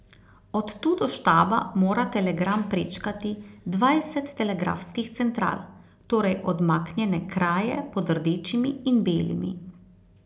Od tu do štaba mora telegram prečkati dvajset telegrafskih central, torej odmaknjene kraje pod rdečimi in belimi.